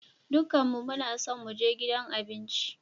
Dukanmu muna so mu je gidan abinci.